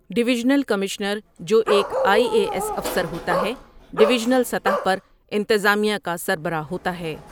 Divisional commissioner جو ایک I A S افسر ہوتا ہے ڈویژنل سطح پر انتظامیہ کا سربراہ ہوتا ہے۔